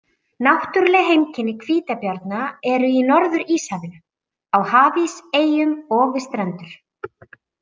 Náttúruleg heimkynni hvítabjarna eru í Norður-Íshafinu, á hafís, eyjum og við strendur.